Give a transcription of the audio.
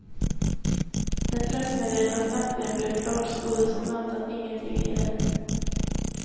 När pressmeddelandet äntligen blev klart stod det som väntat ingenting i det.